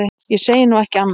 Ég segi nú ekki annað.